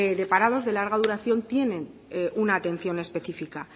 de parados de larga duración tienen una atención específica